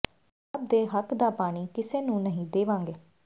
ਪੰਜਾਬ ਦੇ ਹੱਕ ਦਾ ਪਾਣੀ ਕਿਸੇ ਨੂੰ ਨਹੀਂ ਦੇਵਾਂਗੇ